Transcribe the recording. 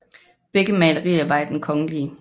Begge malerier var i Den kgl